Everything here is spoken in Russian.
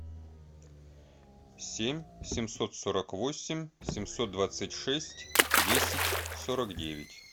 семь семьсот сорок восемь семьсот двадцать шесть десять сорок девять